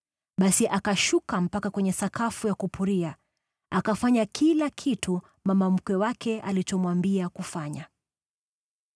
Basi akashuka mpaka kwenye sakafu ya kupuria, akafanya kila kitu mama mkwe wake alichomwambia kufanya.